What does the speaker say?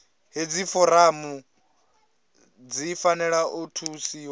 hedzi foramu dzi fanela u thusiwa